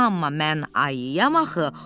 Amma mən ayiyam axı.